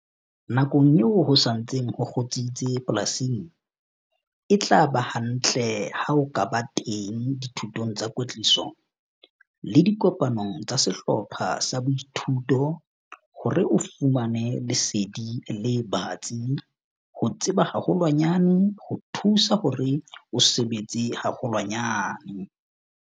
Nakong eo ho sa ntseng ho kgutsitse polasing, e tla ba hantle ha o ka ba teng dithutong tsa kwetliso le dikopanong tsa sehlopha sa boithuto hore o fumane lesedi le batsi - ho tseba haholwanyane ho thusa hore o sebetse haholwanyane!